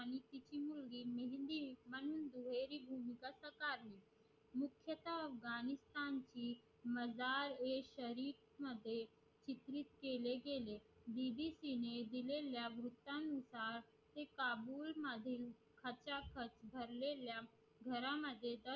अफगाणिस्तान ने मजल एक शरीफ चित्रित केले गेले dd दिल्या नुसार ते काबाई मध्ये घरा मध्ये